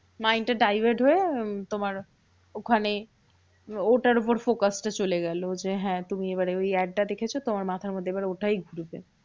মানে এটা divert হয়ে উম তোমার ওখানে ওটার উপর focus টা চলে গেলো। যে হ্যাঁ তুমি এবারে ওই add টা দেখেছো, তোমার মাথার মধ্যে এবার ওটাই ঘুরবে।